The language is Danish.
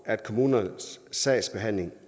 at kommunernes sagsbehandling